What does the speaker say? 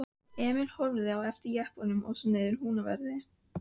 Emil horfði á eftir jeppanum og svo niðrað Húnaveri.